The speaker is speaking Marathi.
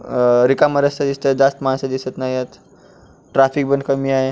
अ रिकामा रस्ता दिसतोय जास्त माणस दिसत नाहीयत ट्रॅफिक पण कमीय.